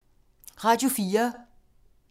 Radio 4